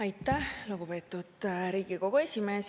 Aitäh, lugupeetud Riigikogu esimees!